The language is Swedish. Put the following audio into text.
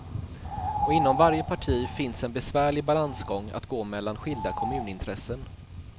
Och inom varje parti finns en besvärlig balansgång att gå mellan skilda kommunintressen.